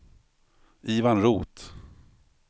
Ivan Roth